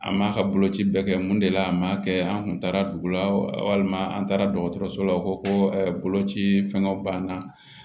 An m'a ka boloci bɛɛ kɛ mun de la an m'a kɛ an kun taara dugu la walima an taara dɔgɔtɔrɔso la u ko koloci fɛnw b'an na